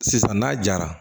Sisan n'a jara